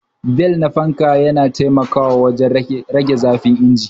Bel ta fanka na taimakawa wajen rage zafin injin